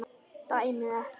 Dæmið ekki.